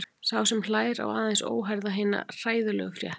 Sá sem hlær á aðeins óheyrða hina hræðilegu frétt.